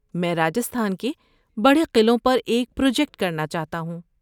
میں راجستھان کے بڑے قلعوں پر ایک پروجیکٹ کرنا چاہتا ہوں۔